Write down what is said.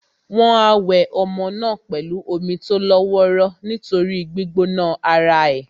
Wọ́n á wẹ ọmọ náà pẹ̀lú omi tó lọ́ wọ́ró nítorí gbígbóná ara è.